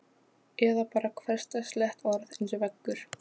Eða bara hversdagslegt orð eins og veggur.